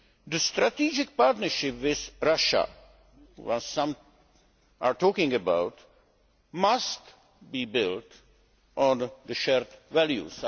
The strategic partnership with Russia, which some are talking about, must be built on shared values